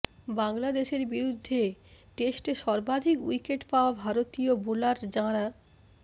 বাংলাদেশের বিরুদ্ধে টেস্টে সর্বাধিক উইকেট পাওয়া ভারতীয় বোলার যাঁরা